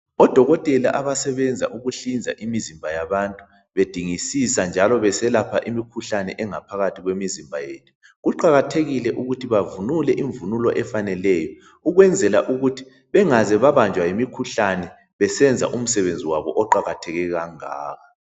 Odokotela abasebenza ukuhlinza imizimba yabantu bedingisisa njalo beselapha imikhuhlane engaphakathi kwemizimba yethu. Kuqakathekile ukuthi bavunule imvunulo efaneleyo ukwenzela ukuthi bengabanjwa yimikhuhlane besenza umsebenzi wabo oqakatheke kangaka.